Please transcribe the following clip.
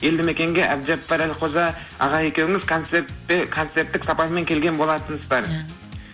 елді мекенге әбжаппар әлқожа аға екеуіңіз концертте концерттік сапармен келген болатынсыздар ия